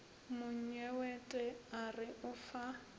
monyewete a re o fa